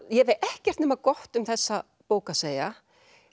ég hef ekkert nema gott um þessa bók að segja